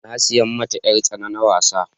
na saya mata yar tsana na wasa